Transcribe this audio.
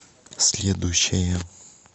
следующая